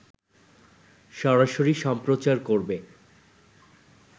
সরাসরি সম্প্রচার করবে